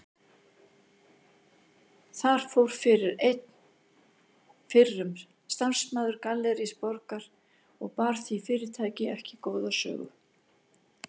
Þar fór fyrir einn fyrrum starfsmaður Gallerís Borgar og bar því fyrirtæki ekki góða sögu.